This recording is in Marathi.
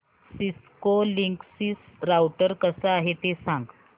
सिस्को लिंकसिस राउटर कसा आहे ते सांग